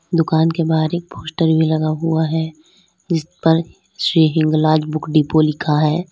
दुकान के बाहर एक पोस्टर भी लगा हुआ है जिस पर श्री हिंगलाज बुक डिपो लिखा है।